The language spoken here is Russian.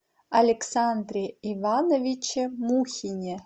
александре ивановиче мухине